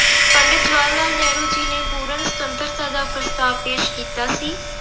ਪੰਡਿਤ ਜਵਾਹਰ ਲਾਲ ਨਹਿਰੂ ਜੀ ਨੇ ਪੂਰਨ ਸੁਤੰਤਰਤਾ ਦਾ ਪ੍ਰਸਤਾਵ ਪੇਸ ਕੀਤਾ ਸੀ।